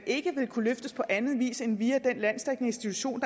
ikke vil kunne løftes på anden vis end via den landsdækkende institution